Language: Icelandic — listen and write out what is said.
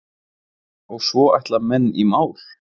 Og svo ætla menn í mál.